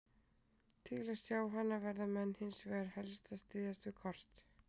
Til að sjá hana verða menn hins vegar helst að styðjast við kort.